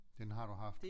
Den har du haft